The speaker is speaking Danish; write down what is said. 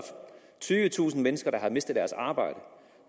tyvetusind mennesker der har mistet deres arbejde